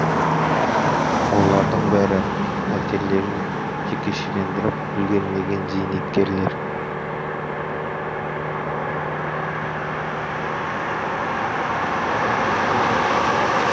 олардың бәрі пәтерлерін жекешелендіріп үлгермеген зейнеткерлер